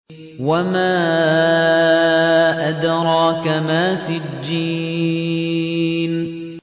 وَمَا أَدْرَاكَ مَا سِجِّينٌ